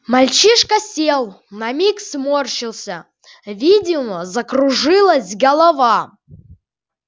мальчишка сел на миг сморщился видимо закружилась голова